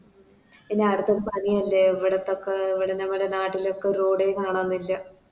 any അടുത്തത് പണിയല്ലേ എവിടുത്തൊക്കെ ഇവിടെ നമ്മുടെ നാട്ടിലൊക്കെ Road എ കാണുന്നില്ല